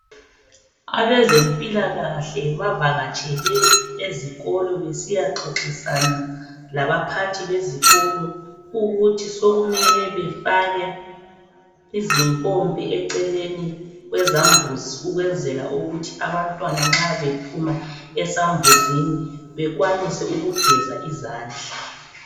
Abezempilakahle bavakatshele ezikolo ,besiyaxoxisana labaphathi bezikolo .Ukuthi sokumele bafake izimpompi eceleni kwezambuzi ,ukwenzela ukuthi abantwana nxa bephuma esambuzini bekwanise ukugeza izandla.